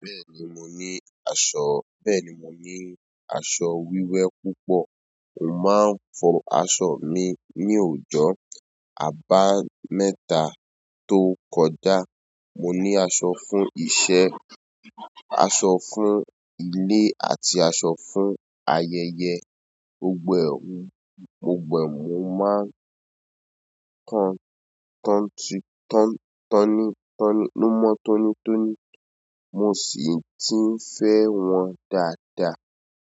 Bẹ́ẹ̀ni mò ní aṣọ, bẹ́ẹ̀ni mò ní aṣọ wíwẹ́ púpọ̀. Mò máa ń fọ aṣọ mi ní òjọ̀ àbámẹ́ta tó kọjá. Mò ní aṣọ fún iṣẹ́, aṣọ fún ilé àti aṣọ fún ayẹyẹ. Gbo gbo ẹ̀, oh, gbogbo ẹ̀ mò máa ń tan tọ́ń ti tọ́n tọ́ní tọ́ní ló mọ́ tónítóní. Mo sì tí ń fẹ́ wọn dáadáa.